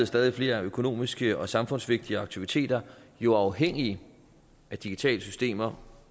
stadig flere økonomiske og samfundsvigtige aktiviteter jo afhængige af digitale systemer